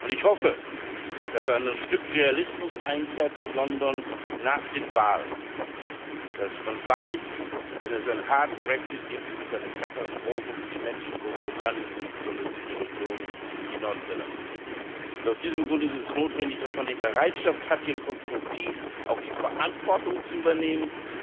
Ich hoffe, dass in London ein Stück Realismus einkehrt nach den Wahlen, dass man weiß, wenn es einen harten Brexit gibt, ist es eine Katastrophe für die Menschen in Großbritannien und besonders in solchen Regionen wie Nordirland. Aus diesem Grund ist es notwendig, dass man die Bereitschaft hat, hier auch konstruktiv die Verantwortung zu übernehmen,